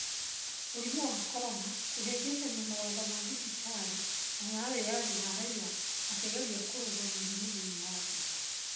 Mũrimũ wa Korona: Kũhĩngĩcania mawatho ma thibitarĩ na ma wĩyathi wa raia makegeria kũrũga mĩrimũ thĩinĩ wa Afrika